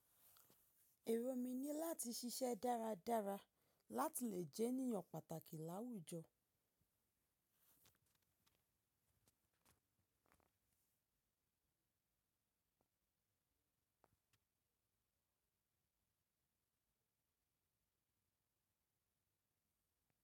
Èrò mí ní láti ṣiṣẹ́ dáradára láti lè jẹ́ ènìyàn pàtàkì láwùjọ.